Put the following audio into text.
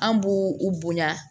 An b'u u bonya